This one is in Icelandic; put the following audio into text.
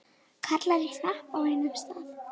Karlar í hnapp á einum stað.